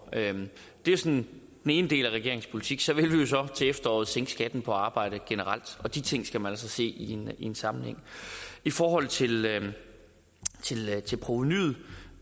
det er sådan den ene del af regeringens politik så vil vi jo så til efteråret sænke skatten på arbejde generelt og de ting skal man altså se i en sammenhæng i forhold til til provenuet